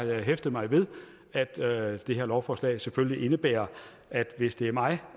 jeg hæftet mig ved at at det her lovforslag selvfølgelig indebærer at hvis det er mig